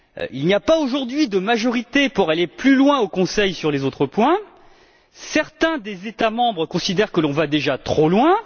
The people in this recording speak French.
Il n'y a pas, aujourd'hui, de majorité pour aller plus loin au Conseil sur les autres points, certains des États membres considérant que l'on va déjà trop loin.